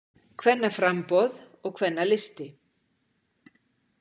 Kvennaframboð og Kvennalisti